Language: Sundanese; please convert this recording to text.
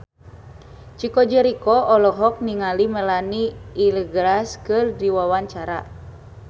Chico Jericho olohok ningali Melanie Iglesias keur diwawancara